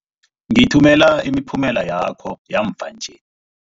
Ngithumela imiphumela yakho yamva nje.